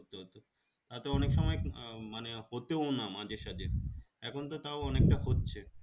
তাতে অনেকসময় মানে হতও না মাঝে সাঝে এখনতো তাও অনেকটা হচ্ছে